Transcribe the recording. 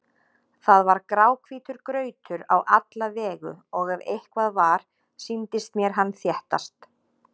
Það var gráhvítur grautur á alla vegu og ef eitthvað var, sýndist mér hann þéttast.